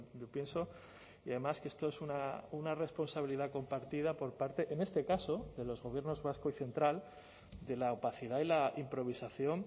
yo pienso y además que esto es una responsabilidad compartida por parte en este caso de los gobiernos vasco y central de la opacidad y la improvisación